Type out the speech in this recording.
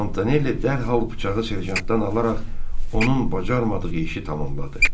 Montanelli dərhal bıçağı serjantdan alaraq onun bacarmadığını işi tamamladı.